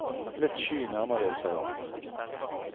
Litt sky nærmer de seg hverandre.